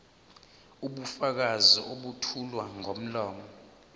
ubufakazi obethulwa ngomlomo